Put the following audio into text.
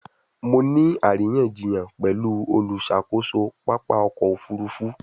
Mo ni ariyanjiyan pẹlu oluṣakoso papa ọkọ ofurufu